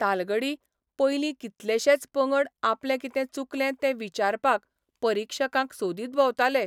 तालगडी पयलीं कितलेशेच पंगड आपलें कितें चुकलें तें विचारपाक परिक्षकांक सोदीत भोंवताले.